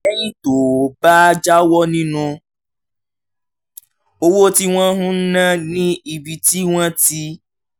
lẹ́yìn tó o bá jáwọ́ nínú owó tí wọ́n ń ná ní ibi tí wọ́n ti